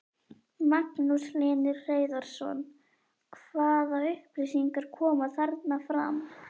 Magnús Hlynur Hreiðarsson: Hvaða upplýsingar koma þarna fram?